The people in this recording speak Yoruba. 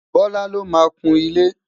bọla ló má kún ile